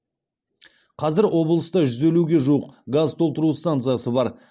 қазір облыста жүз елуге жуық газ толтыру станциясы бар